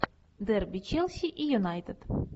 дерби челси и юнайтед